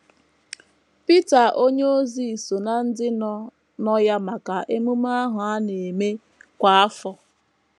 Pita onyeozi so ná ndị nọ nọ ya maka ememe ahụ a na - eme kwa afọ.